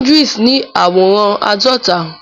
Idris ni àwòrán àádọta.